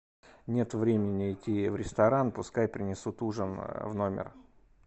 нет времени идти в ресторан пускай принесут ужин в номер